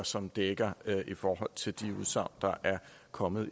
som dækker i forhold til de udsagn der er kommet